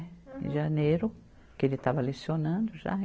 Em janeiro, que ele estava lecionando já.